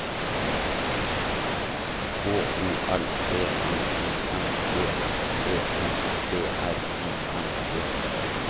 H O L D N I N G S E N D R I N G